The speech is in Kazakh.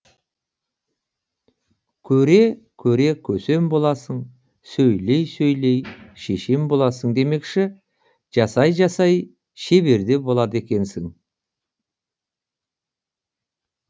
көре көре көсем боласың сөйлей сөйлей шешен боласың демекші жасай жасай шебер де болады екенсің